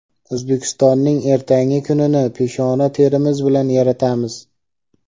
O‘zbekistonning ertangi kunini peshona terimiz bilan yaratamiz.